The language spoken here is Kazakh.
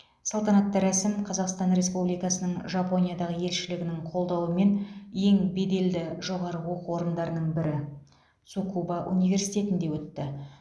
салтанатты рәсім қазақстан республикасының жапониядағы елшілігінің қолдауымен ең беделді жоғары оқу орындарының бірі цукуба университетінде өтті